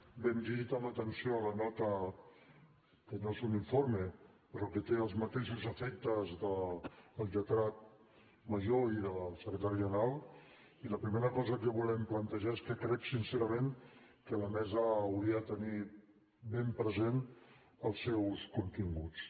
bé hem llegit amb atenció la nota que no és un informe però que té els mateixos efectes del lletrat major i del secretari general i la primera cosa que volem plantejar és que crec sincerament que la mesa hauria de tenir ben present els seus continguts